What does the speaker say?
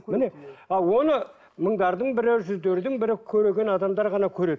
міне ал оны мыңдардың бірі жүздердің бірі көреген адамдар ғана көреді